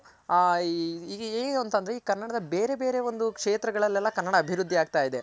ಏನು ಅಂತ ಅಂದ್ರೆ ಈ ಕನ್ನಡದ ಬೇರೆ ಬೇರೆ ಒಂದು ಕ್ಷೇತ್ರ ಗಳಲೆಲ್ಲ ಕನ್ನಡ ಅಭಿವೃದ್ದಿ ಆಗ್ತಾ ಇದೆ